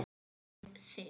Dansið þið.